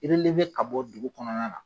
ka bɔ dugu kɔnɔna na.